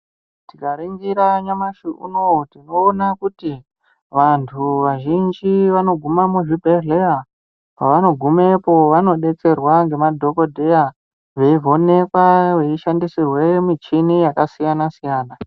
Tikaringira nyamashi unowu tinoona kuti vantu vazhinji vanogume muzvibhedhlera pavanogumepo vanodetserwa ngemadhokodheya veivhenekwa veishandisirwe michini yakasiyana siyana.